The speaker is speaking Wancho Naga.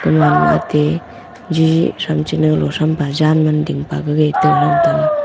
owan maatey jiji sham chinau lo sham baajaan manding pagave toh ram taga